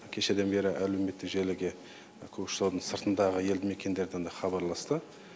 кешеден бері әлеуметтік желіге көкшетаудың сыртындағы елді мекендерден де хабарласты